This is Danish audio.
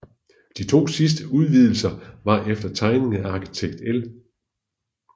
De to sidste udvidelser var efter tegning af arkitekt L